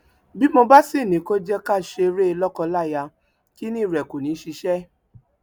bí mo bá sì ní kó jẹ ká ṣe eré lọkọláya kinní rẹ kó ní í ṣiṣẹ